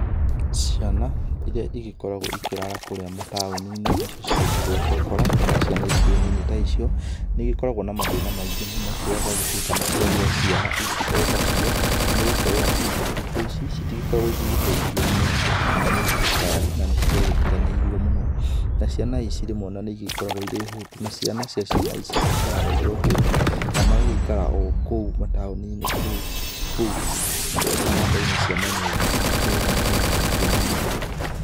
Ciana iria igĩkoragwo ikĩrara kũrĩa mataũninĩ nĩcio ciĩtagwo cũkũra kana ciana ingĩ nyinyi ta icio, nĩ igĩkoragwo na mathĩna maingĩ mũno rĩrĩa ciagĩtuĩka nĩciagĩa ciana otacio nĩ gũkorwo atĩ thikũ ici itigĩgĩkoragwo ĩgĩteithio nĩ andũ kana nĩ thirikari na nĩ ciagĩtiganĩirio mũno. Na ciana ici rĩmwe nĩcigĩkoragwo irĩ hũtu na ciana cia ciana ici igakĩrara irĩ o hũtu na magagĩikara o kũu mataũninĩ kũu baranda-inĩ cia manyũmba makĩrĩ na mathĩna maingĩ mũno.